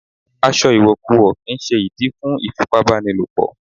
Aṣọ ìwọ̀kuwọ̀ kì ń ṣe ìdí fún ìfipá bá ni lò pọ̀.